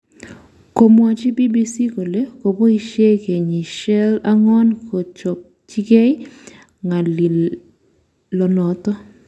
Komwachi BBC kole koboishe kenyishel ang'wan kochopchingei ng'alionoto